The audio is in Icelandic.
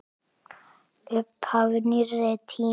Upphaf nýrri tíma.